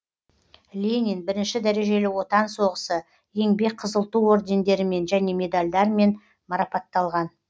ленин бірінші дәрежелі отан соғысы еңбек қызыл ту ордендерімен және медальдармен марапатталған